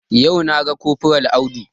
Yau na ga kofral Audu